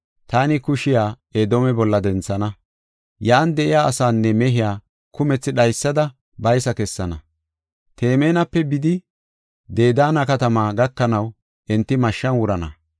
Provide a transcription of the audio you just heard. taani kushiya Edoome bolla denthana. Yan de7iya asaanne mehiya kumethi dhaysada baysa kessana. Temaanape bidi, Dedaana katamaa gakanaw enti mashshan wurana.